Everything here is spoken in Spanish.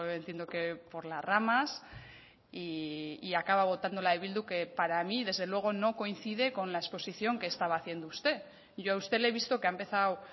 entiendo que por las ramas y acaba votando la de bildu que para mí desde luego no coincide con la exposición que estaba haciendo usted yo a usted le he visto que ha empezado